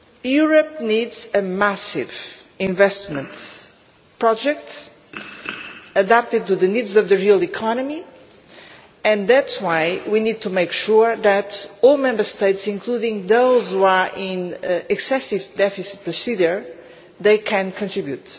Europe needs a massive investment project adapted to the needs of the real economy and that is why we need to make sure that all Member States, including those which are in excessive deficit procedure, can contribute.